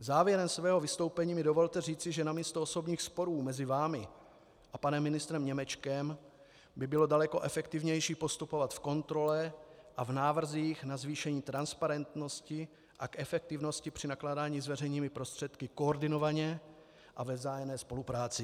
Závěrem mého vystoupení mi dovolte říct, že namísto osobních sporů mezi vámi a panem ministrem Němečkem by bylo daleko efektivnější postupovat v kontrole a v návrzích na zvýšení transparentnosti a k efektivnosti při nakládání s veřejnými prostředky koordinovaně a ve vzájemné spolupráci.